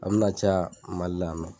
An bina caya MALI la.